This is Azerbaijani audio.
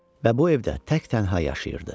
Və bu evdə tək-tənha yaşayırdı.